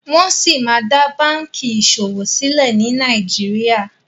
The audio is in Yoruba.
Wón sí má dá bánkì ìṣòwò silẹ ní Nàìjíríà.